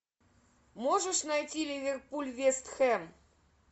можешь найти ливерпуль вест хэм